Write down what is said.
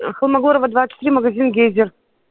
холмогорова двадцать три магазин гейзер